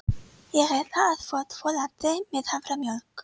Ég ætla að fá tvo latte með haframjólk.